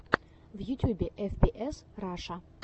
в ютюбе эф пи эс раша